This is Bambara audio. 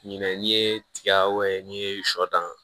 Ɲinɛ n'i ye tiga n'i ye sɔ dan